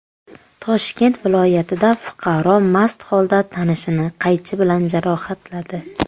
Toshkent viloyatida fuqaro mast holda tanishini qaychi bilan jarohatladi.